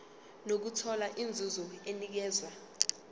nokuthola inzuzo enikezwa